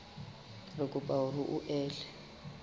re kopa hore o ele